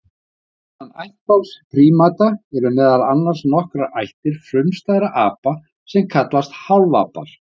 Innan ættbálks prímata eru meðal annars nokkrar ættir frumstæðra apa sem kallast hálfapar.